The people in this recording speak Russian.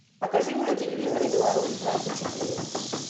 покажи мне на телевизоре беларусь двадцать четыре